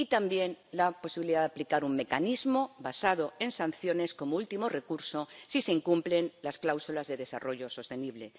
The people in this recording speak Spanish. y también la posibilidad de aplicar un mecanismo basado en sanciones, como último recurso si se incumplen las cláusulas de desarrollo sostenible.